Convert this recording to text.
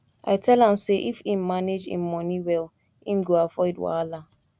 i tell am sey if im manage im money well im go avoid wahala